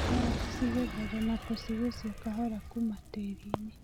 Karati cigethagwo na gũcigũcia kahora kuma tĩrinĩ.